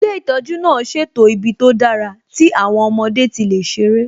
Ilé ìtọ́jú náà ṣètò ibi tó dára tí àwọn ọmọdé tí lè ṣerẹ́